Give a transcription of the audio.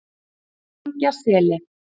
Engjaseli